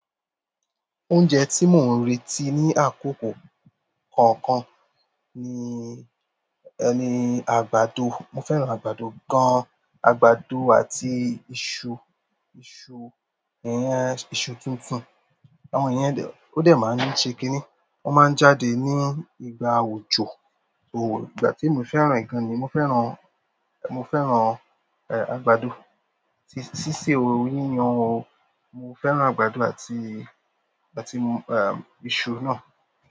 Oúnjẹ tí mò ń retí ní àkókò kọ̀ọ̀kan ni, ni àgbàdo. Mo fẹ́ràn àgbàdo gan. Àgbàdo àti iṣu, iṣu n yẹ iṣu tuntun. Àwọn yẹ dẹ̀ ó dẹ̀ ma se kín ní o máa já dé ní ìgbà òjò mo fẹ́ràn rẹ̀ gan, mo fẹ́ràn mo fẹ́ràn ẹ àgbàdo ṣiṣe o yíyan o. Mo fẹ́ràn àgbàdo àti, àti ẹm iṣu na.